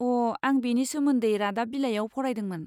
अ', आं बेनि सोमोन्दै रादाब बिलाइआव फरायदोंमोन।